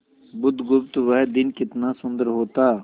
बुधगुप्त वह दिन कितना सुंदर होता